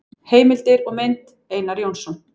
Heimildir og mynd: Einar Jónsson.